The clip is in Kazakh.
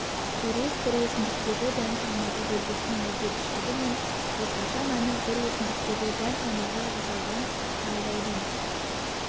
сурет бір өсімдіктегі дән салмағы белгісінің өзгергіштігі мен орташа мәні бір өсімдіктегі дән салмағы жасалған талдаудың